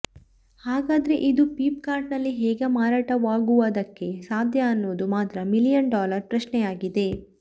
ಹಾಗಾದ್ರೆ ಇದು Flipkart ನಲ್ಲಿ ಹೇಗೆ ಮಾರಾಟವಾಗುವದಕ್ಕೆ ಸಾಧ್ಯ ಅನ್ನೋದು ಮಾತ್ರ ಮಿಲಿಯನ್ ಡಾಲರ್ ಪ್ರಶ್ನೆಯಾಗಿದೆ